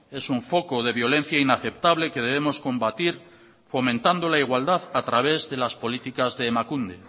es un foco de violencia inaceptable que debemos combatir fomentando la igualdad a través de las políticas de emakunde